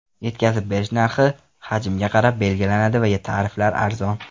Yetkazib berish narxi hajmga qarab belgilanadi va tariflar arzon.